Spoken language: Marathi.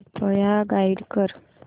कृपया गाईड कर